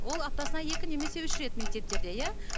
ол аптасына екі немесе үш рет мектептерде иә